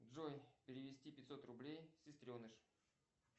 джой перевести пятьсот рублей сестреныш